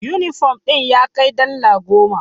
Yunifom din ya kai dala goma.